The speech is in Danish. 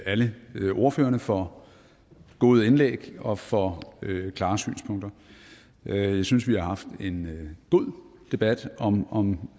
alle ordførerne for gode indlæg og for klare synspunkter jeg synes vi har haft en god debat om om